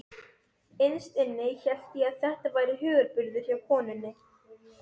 Að þau hefðu öll beygt sig í duftið fyrir lágkúrunni.